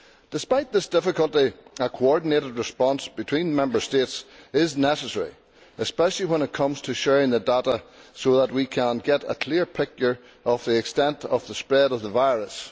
Despite this difficulty, a coordinated response between Member States is necessary, especially when it comes to sharing the data so that we can get a clear picture of the extent of the spread of the virus.